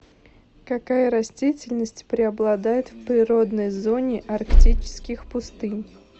какая растительность преобладает в природной зоне арктических пустынь